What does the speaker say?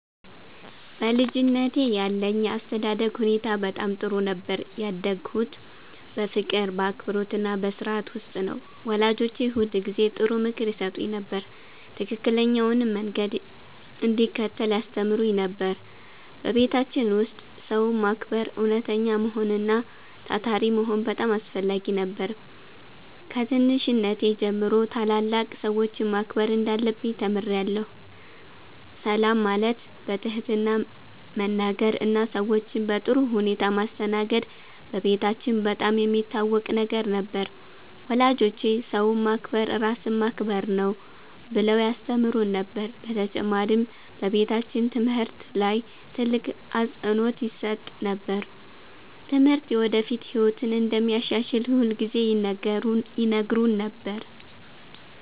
በልጅነቴ ያለኝ የአስተዳደግ ሁኔታ በጣም ጥሩ ነበር። ያደግሁት በፍቅር፣ በአክብሮትና በሥርዓት ውስጥ ነው። ወላጆቼ ሁልጊዜ ጥሩ ምክር ይሰጡኝ ነበር፣ ትክክለኛውንም መንገድ እንድከተል ያስተምሩኝ ነበር። በቤታችን ውስጥ ሰውን ማክበር፣ እውነተኛ መሆን እና ታታሪ መሆን በጣም አስፈላጊ ነበር። ከትንሽነቴ ጀምሮ ታላላቅ ሰዎችን ማክበር እንዳለብኝ ተምሬአለሁ። ሰላም ማለት፣ በትህትና መናገር እና ሰዎችን በጥሩ ሁኔታ ማስተናገድ በቤታችን በጣም የሚታወቅ ነገር ነበር። ወላጆቼ “ሰውን ማክበር ራስን ማክበር ነው” ብለው ያስተምሩን ነበር። በተጨማሪም በቤታችን ትምህርት ላይ ትልቅ አፅንዖት ይሰጥ ነበር። ትምህርት የወደፊት ህይወትን እንደሚያሻሽል ሁልጊዜ ይነግሩን ነበር።